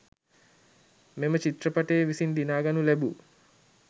මෙම චිත්‍රපටය විසින් දිනාගනු ලැබූ